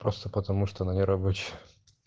просто потому что она не рабочая